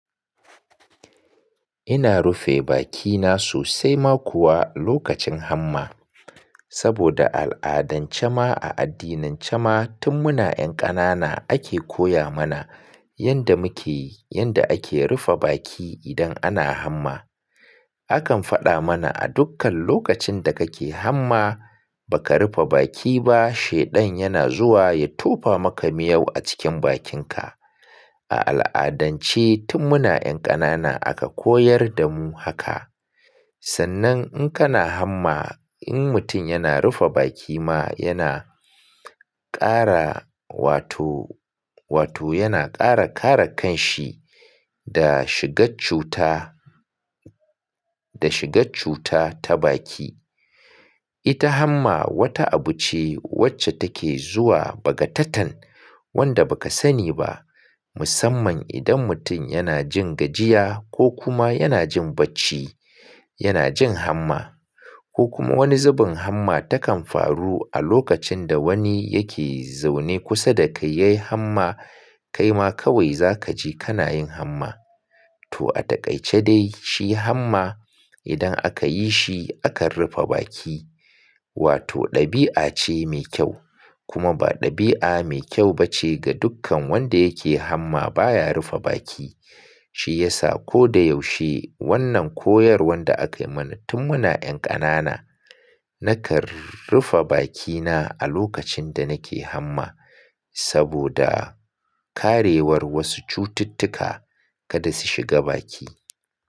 Ina rufe bakina sosai ma kuwa lokacin hamma. Saboda al'adan jama a addinin jama, tun muna 'yan kanana ake koya mana yanda muke, yanda ake rufe baki idan ana hamma. Akan faɗa mana a dukkan lokacin da kake hamma, baka rufe baki ba shaidan yana zuwa ya tofa maka miyau a cikin bakinka. A al'adance tun muna 'yan kanana aka koyar damu haka. Sannan in kana hamma, in mutum yana rufe baki ma yana kara wato, wato yana kara kare kanshi da shiga cuta, da shiga cuta ta baki. Ita hamma wata abu ce wacce take zuwa bagatatan wanda bakasani ba. Musamman idan mutum yana jin gajiya ko kuma yana jin bacci, yana jin hamma. Ko kuma wani zubin hamma takan faru a lokacin da wani yake zaune kusa da ka yayi hamma, kaima kawai zakaji kanayin hamma. To a dakaitace dai shi hamma idan aka yi shi akan rufe baki. Wato ɗabi'a ce me kyau. Kuma ba ɗabi'a me kyau bace ga dukkan wanda yake hamma baya rufe baki. Shi yasa ko da yaushe wannan koyarwan da aka mana tun muna 'yan kanana, nakan rufe bakina a lokacin da nake hamma saboda karewar wasu cututtuka kada su shiga baki.